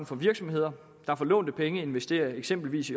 for virksomheder der for lånte penge investerer i eksempelvis